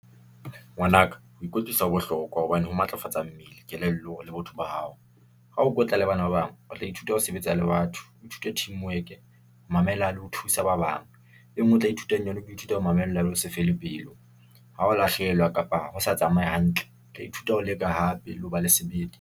Ngwana ka ho ikwetlisa ho bohlokwa, hobane ho matlafatsa mmele, kelello, le botho ba hao. Ha ho kwetla le bana ba bang, o tla ithuta ho sebetsa le batho, o ithuta teamwork-e, mamela le ho thusa ba bang. E nngwe o tla ithutang yona, ke ho ithuta ho mamella le ho se fele pelo, ha o lahlehelwa kapa ho sa tsamaye hantle, tla ithuta ho leka hape le ho ba le sebete.